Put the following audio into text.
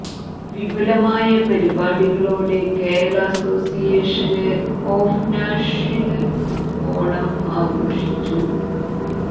വിപുലമായ പരിപാടികളോടെ Kerala association of Nashville Onam ആഘോഷിച്ചു